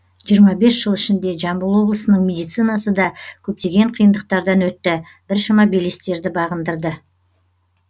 жиырма бес жыл ішінде жамбыл облысының медицинасы да көптеген қиындықтардан өтті біршама белестерді бағындырды